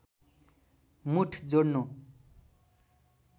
मुठ जोड्नु